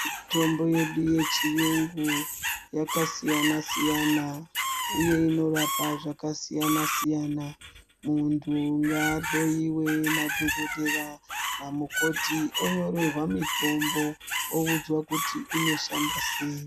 Mitombo yedu yechiyungu yakasiyana siyana uye inorapa zvakasiyana siyana. Muntu ngaahloyiwe nadhokodhera namukoti onyorerwa mitombo oudzwa kuti inoshanda sei.